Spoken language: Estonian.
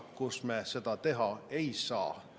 … kus me seda teha ei saa.